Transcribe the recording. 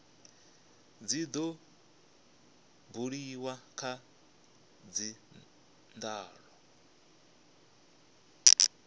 tshi do buliwa kha dzindaulo